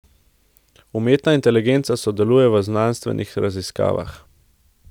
Umetna inteligenca sodeluje v znanstvenih raziskavah.